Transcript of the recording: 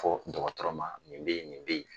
Fo dɔgɔtɔrɔ ma nin bɛ yen nin bɛ yen